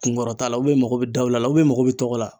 Kunkɔrɔta la i mago be daula la i mago be tɔgɔ la.